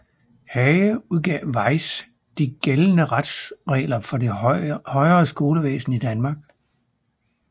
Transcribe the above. Hage udgav Weis De gældende Retsregler for det højere Skolevæsen i Danmark